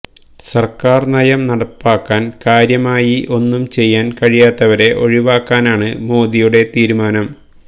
സർക്കാർ നയം നടപ്പാക്കാൻ കാര്യമായി ഒന്നും ചെയ്യാൻ കഴിയാത്തവരെ ഒഴിവാക്കാനാണ് മോദിയുടെ തീരുമാനം